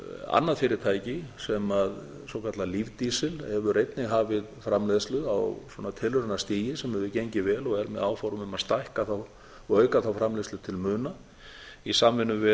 annað fyrirtæki svokallað lífdísil hefur einnig hafið framleiðslu á tilraunastigi sem hefur gengið vel og er með áform um að stækka og auka þá framleiðslu til muna í samvinnu